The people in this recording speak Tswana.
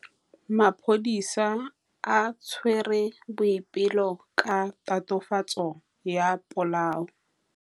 Maphodisa a tshwere Boipelo ka tatofatsô ya polaô.